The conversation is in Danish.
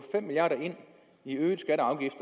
i øvrigt